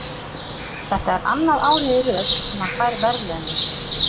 Þetta er annað árið í röð sem hann fær verðlaunin.